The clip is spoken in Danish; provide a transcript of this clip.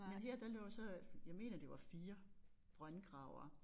Men her der lå så jeg mener det var 4 brøndgravere